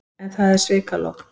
En það er svikalogn.